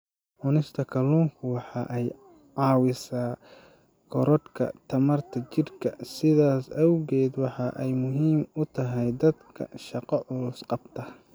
Cunista kalluunku waxa ay caawisaa korodhka tamarta jidhka, sidaas awgeed waxa ay muhiim u tahay dadka shaqo culus qabta.